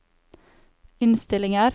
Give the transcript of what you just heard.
innstillinger